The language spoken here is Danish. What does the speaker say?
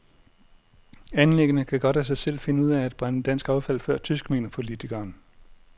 Anlæggene kan godt af sig selv finde ud af at brænde dansk affald før tysk, mener politikeren.